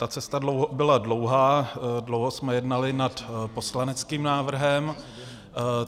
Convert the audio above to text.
Ta cesta byla dlouhá, dlouho jsme jednali nad poslaneckým návrhem.